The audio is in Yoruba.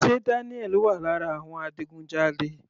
Sé Daniel wà lára àwọn adigunjalè?